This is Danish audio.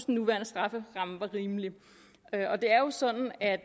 nuværende strafferamme var rimelig det er jo sådan at